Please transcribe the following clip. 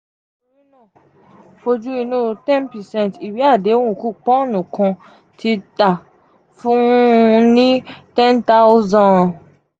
oju inú ten percent iwe adehun kupọọnu kan ti ta fun-un ní ten thousand